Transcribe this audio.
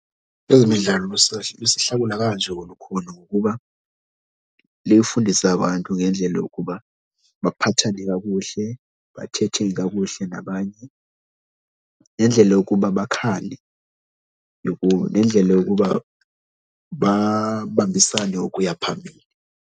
Kwezemidlalo lusihlakula kanje olukhulu ngokuba lifundise abantu ngendlela yokuba baphathane kakuhle, bathethe kakuhle nabanye nendlela yokuba bakhale, nendlela yokuba babambisane ukuya phambili.